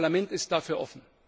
Das Parlament ist dafür offen!